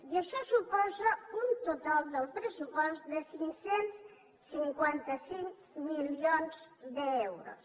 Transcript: i això suposa un total del pressupost de cinc cents i cinquanta cinc milions d’euros